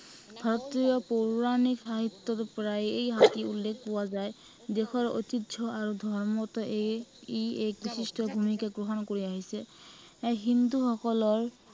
হাতীয়ে পৌৰাণিক সাহিত্য়ৰ পৰাই এই হাতীৰ উল্লেখ পোৱা যায়। দেশৰ ঐতিহ্য় আৰু ধৰ্মতো এই ই এক বিশিষ্ট ভূমিকা গ্ৰহণ কৰি আহিছে। এৰ হিন্দুসকলৰ